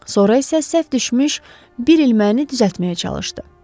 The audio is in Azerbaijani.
Sonra isə səhv düşmüş bir ilməni düzəltməyə çalışdı.